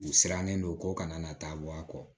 U sirannen don ko kana na taa bɔ a kɔ